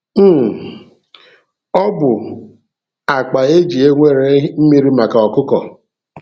um Ọ bụ akpa e ji ewere mmiri maka ọkụkọ.